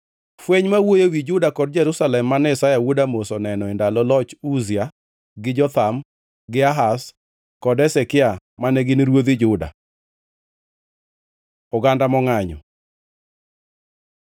Fweny ma wuoyo ewi Juda kod Jerusalem mane Isaya wuod Amoz oneno e ndalo loch Uzia gi Jotham gi Ahaz kod Hezekia mane gin ruodhi Juda. Oganda mongʼanyo